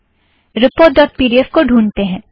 report dot P D F को ढ़ूँढतें हैं